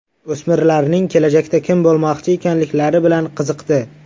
O‘smirlarning kelajakda kim bo‘lmoqchi ekanliklari bilan qiziqdi.